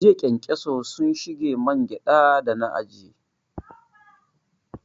Jiya ƙenkeso sun shige man gyada da na ajiye